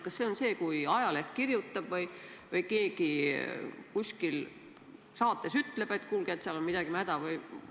Kas see on see, kui ajaleht kirjutab või keegi kuskil saates ütleb, et kuulge, seal on midagi mäda?